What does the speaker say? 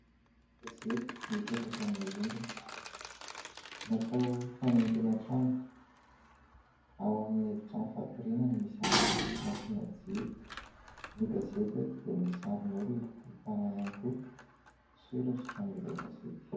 Gazety mipetraka amin'ny rindrina. Natao fanaingoana trano ao amin'ny efi-trano fatoriana no misy anazy, nasiana jiro. Ny gazety eto dia misy sarin'olona ahitana ihany koa soratra amin'ilay gazety.